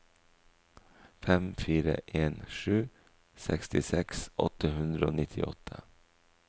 fem fire en sju sekstiseks åtte hundre og nittiåtte